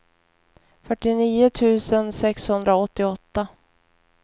fyrtionio tusen sexhundraåttioåtta